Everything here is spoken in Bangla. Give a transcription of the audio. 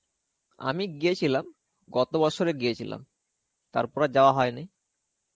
আমি গিয়েছিলাম. গত বছরে গিয়েছিলাম. তারপরে আর যাওয়া হয়নি.